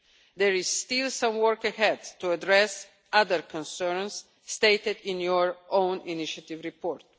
There is still some work ahead to address other concerns stated in your own initiative report.